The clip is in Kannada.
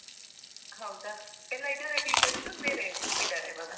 ಹೌದಾ? ಎಲ್ಲ ಇದ್ದಾರಾ teachers, ಬೇರೆ ಇದ್ದಾರಾ ಇವಾಗ?